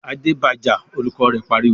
"Adé ba jà!" Olùkọ́ rẹ̀ pariwo.